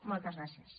moltes gràcies